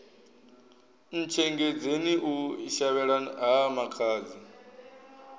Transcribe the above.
ntshengedzeni u shavhela ha makhadzi